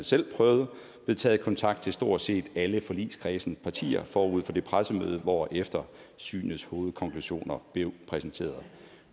selv prøvet blevet taget kontakt til stort set alle forligskredsens partier forud for det pressemøde hvorefter synets hovedkonklusioner blev præsenteret